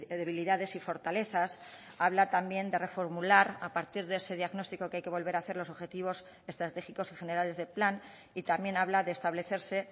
debilidades y fortalezas habla también de reformular a partir de ese diagnóstico que hay que volver a hacer los objetivos estratégicos y generales del plan y también habla de establecerse